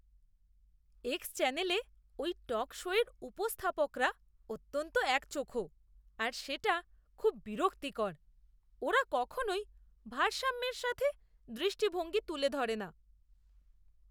X চ্যানেলে ওই talk শোয়ের উপস্থাপকরা অত্যন্ত একচোখো আর সেটা খুব বিরক্তিকর! ওরা কখনোই ভারসাম্যের সাথে দৃষ্টিভঙ্গি তুলে ধরে না।